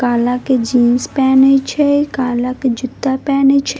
काला के जीन्स पैने छे काला के जूता पैने छे।